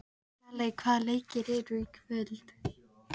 Daley, hvaða leikir eru í kvöld?